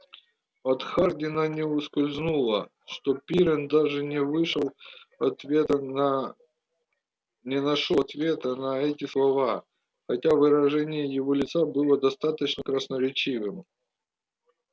от хардина не ускользнуло что пиренн даже не вышел ответа на не нашёл ответа на эти слова хотя выражение его лица было достаточно красноречивым